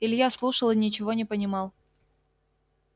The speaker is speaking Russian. илья слушал и ничего не понимал